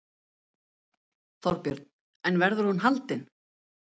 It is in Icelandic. Þorbjörn: En verður hún haldin?